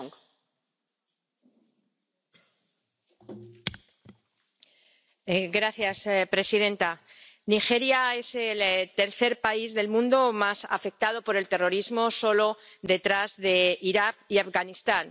Señora presidenta, Nigeria es el tercer país del mundo más afectado por el terrorismo, solo detrás de Irak y Afganistán.